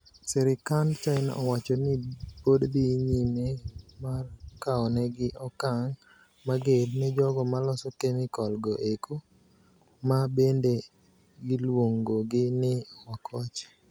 Serikand China owacho ni pod dhii nyime mar kaonegi okang mager ne jogo maloso kemikal go eko ma bende giluongogi ni wakoche.